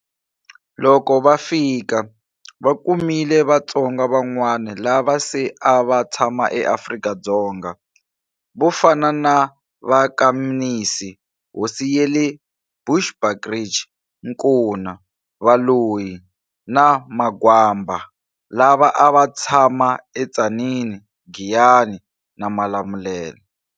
Loko va fika, va kumile Vatsonga van'wana lava se a va tshama eAfrika-Dzonga, vo fana na va ka Mnisi hosi yale eBushbuckridge, Nkuna, Valoyi, na Magwamba lava a va tshama eTzaneen, Giyani, na Malamulele.